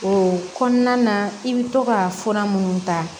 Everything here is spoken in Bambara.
O kɔnɔna na i bɛ to ka fura minnu ta